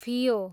फियो